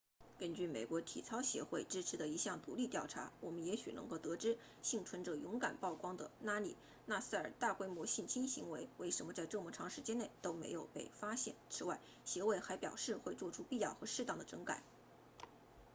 根据美国体操协会支持的一项独立调查我们也许能够得知幸存者勇敢曝光的拉里纳萨尔的大规模性侵行为为什么在这么长时间内都没有被发现此外协会还表示会做出必要和适当的整改